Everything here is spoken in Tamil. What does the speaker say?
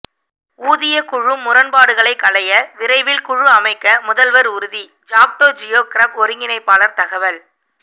ஊதியக் குழு முரண்பாடுகளை களைய விரைவில் குழு அமைக்க முதல்வர் உறுதி ஜாக்டோ ஜியோ கிரப் ஒருங்கிணைப்பாளர் தகவல்